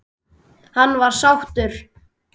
Hann var sáttur.